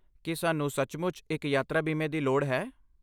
ਕੀ ਸਾਨੂੰ ਸੱਚਮੁੱਚ ਇੱਕ ਯਾਤਰਾ ਬੀਮੇ ਦੀ ਲੋੜ ਹੈ?